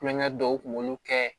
Kulonkɛ dɔw kun b'olu kɛ